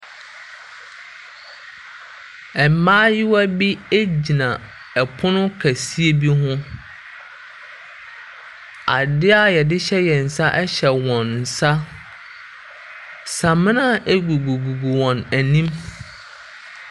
Mmaayiwa bi egyina ɛpono kɛse bi ho. Ade a yɛde hyɛ wɔn nsa ɛhyɛ wɔn nsa. Samina egugu wɔn anim.